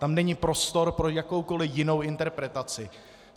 Tam není prostor pro jakoukoli jinou interpretaci.